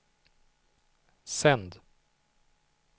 sänd